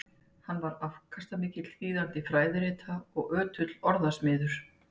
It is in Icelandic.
Hann var afkastamikill þýðandi fræðirita og ötull orðasmiður.